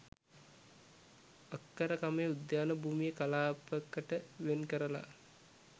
අක්කර ක මේ උද්‍යාන භූමිය කලාප කට වෙන් කරලා